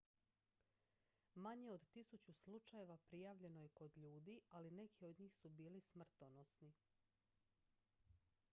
manje od tisuću slučajeva prijavljeno je kod ljudi ali neki od njih su bili smrtonosni